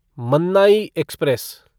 Mannai express